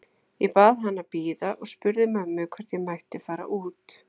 Ég bað hann að bíða og spurði mömmu hvort ég mætti fara út.